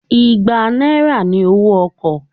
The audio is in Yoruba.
Igbá náírà ni owó ọkọ̀